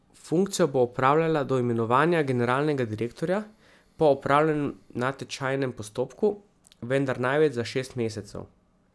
Funkcijo bo opravljala do imenovanja generalnega direktorja po opravljenem natečajnem postopku, vendar največ za šest mesecev.